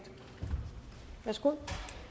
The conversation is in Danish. værsgo